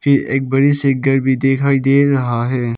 ये एक बड़ी सी घर भी दिखाई दे रहा है।